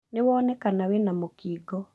Nĩ wonekana wĩna mũkingo